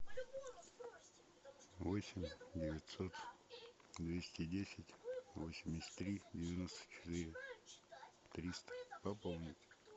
восемь девятьсот двести десять восемьдесят три девяносто четыре триста пополнить